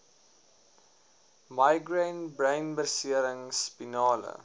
migraine breinbeserings spinale